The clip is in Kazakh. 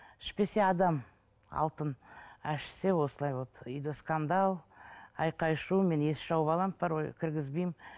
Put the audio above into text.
ішпесе адам алтын а ішсе осылай вот үйде скандал ақай шу мен есікті жауып аламын порой кіргізбеймін